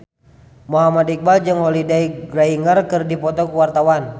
Muhammad Iqbal jeung Holliday Grainger keur dipoto ku wartawan